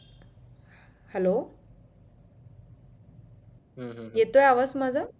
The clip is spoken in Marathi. hello हम्म हम्म येतोय आवाज माझा